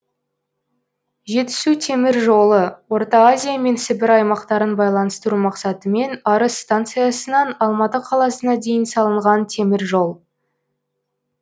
жетісу темір жолы орта азия мен сібір аймақтарын байланыстыру мақсатымен арыс станциясынан алматы қаласына дейін салынған темір жол